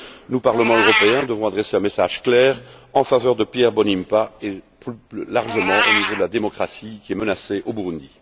Nous, Parlement européen, devons adresser un message clair en faveur de Pierre Claver Mbonimpa et, plus largement, en faveur de la démocratie, qui est menacée au Burundi.